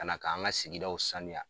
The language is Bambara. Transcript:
Ka na k'an ka sigidaw sanuya.